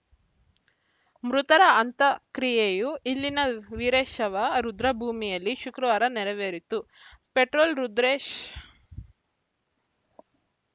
ಮೃತರ ಅಂತ ಕ್ರಿಯೆಯು ಇಲ್ಲಿನ ವೀರಶವ ರುದ್ರಭೂಮಿಯಲ್ಲಿ ಶುಕ್ರವಾರ ನೆರವೇರಿತು ಪೆಟ್ರೋಲ್‌ ರುದ್ರೇಶ್‌